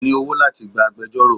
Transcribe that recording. Kò ní owó láti gba agbejọ́rò.